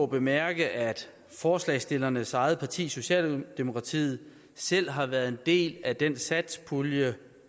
bemærke at forslagsstillernes eget parti socialdemokratiet selv har været en del af den satspuljeaftale